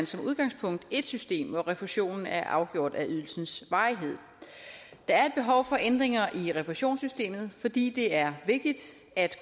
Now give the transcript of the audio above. som udgangspunkt ét system hvor refusionen er afgjort af ydelsens varighed der er et behov for ændringer i refusionssystemet fordi det er vigtigt at